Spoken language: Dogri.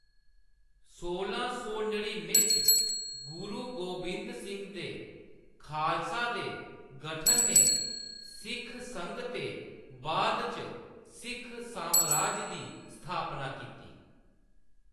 सोलां सौ नड़िनुएं च गुरु गोबिंद सिंह दे खालसा दे गठन ने सिख संघ ते बाद इच सिख सामराज दी स्थापना कीती।